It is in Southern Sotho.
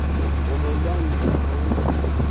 ho mo lwantsha ha ho